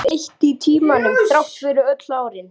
Urðu eitt í tímanum, þrátt fyrir öll árin.